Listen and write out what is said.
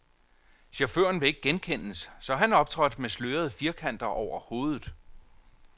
Chaufføren vil ikke genkendes, så han optrådte med slørede firkanter over hovedet.